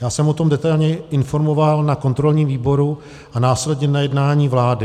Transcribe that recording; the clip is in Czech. Já jsem o tom detailněji informoval na kontrolním výboru a následně na jednání vlády.